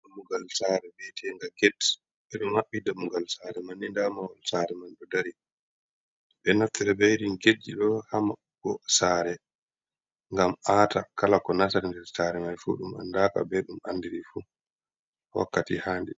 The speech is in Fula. Dammugal sare bi etenga get, eɗo maɓɓi dammugal sare manni nda mahol sare man ɗo dari. Ɓe an naftire be irin getji ɗo ha maɓɓugo sare, ngam ata kala ko nastata nder sare mai fu ɗum andaka be ɗum andirafu wakkati handii.